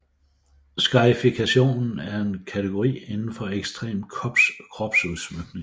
Scarification er en kategori indenfor ekstrem kropsudsmykning